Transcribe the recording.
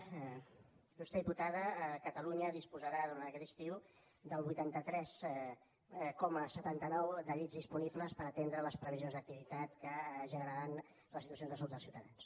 il·lustre diputada catalunya disposarà durant aquest estiu del vuitanta tres coma setanta nou dels llits disponibles per atendre les previsions d’activitat que generaran les situacions de salut dels ciutadans